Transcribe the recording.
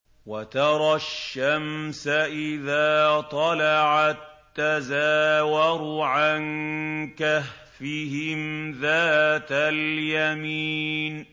۞ وَتَرَى الشَّمْسَ إِذَا طَلَعَت تَّزَاوَرُ عَن كَهْفِهِمْ ذَاتَ الْيَمِينِ